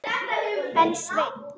En Sveinn